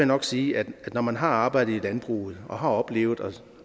nok sige at når man har arbejdet i landbruget og har oplevet